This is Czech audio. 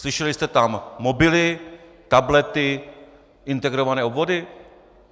Slyšeli jste tam mobily, tablety, integrované obvody?